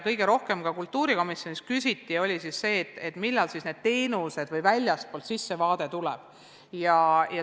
Kõige rohkem küsiti kultuurikomisjonis selle kohta, millal siis see väljastpoolt sissevaade avalikustatakse.